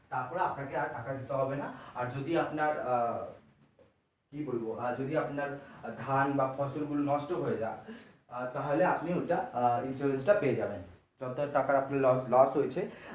তারপরে আপনাকে আর টাকা দিওতে হবে না আর যদি আপনার আহ কি বলবো আর যদি আপনার ধান বা ফসল গুলো নষ্ট হয়ে যায়ে তাহলে আপনি ওইটা আহ insurance টা পেয়ে যাবেন যত টাকা আপনার loss হয়েছে।